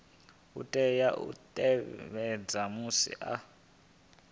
tea u tevhedza musi a